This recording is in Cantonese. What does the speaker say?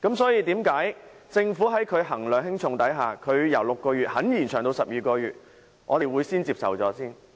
所以，既然政府衡量輕重後願意把檢控期由6個月延長至12個月，我們應該暫且接受相關修訂。